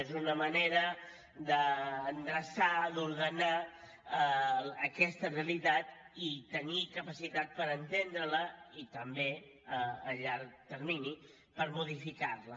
és una manera d’endreçar d’ordenar aquesta realitat i tenir capacitat per entendre la i també a llarg termini per modificar la